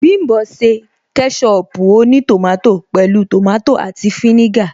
Bím̀bọ́ ṣe kẹ́ṣọpù ó ní tòmátò pẹ̀lú tòmátò àti fínígà